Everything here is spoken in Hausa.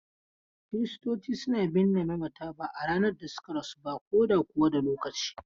Kiristoci suna binne mamata ba a ranar da suka rasu ba ko da kuwa da lokaci.